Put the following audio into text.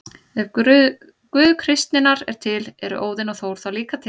Ef Guð kristninnar er til, eru Óðinn og Þór þá líka til?